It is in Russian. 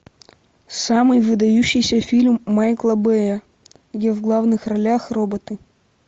самый выдающийся фильм майкла бэя где в главных ролях роботы